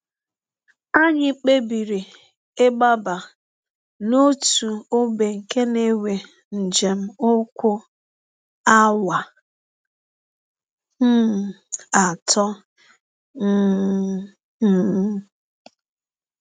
“ Anyị kpebiri ịgbaba n’ọtụ ọgbe nke na - ewe njem ụkwụ awa um atọ um. um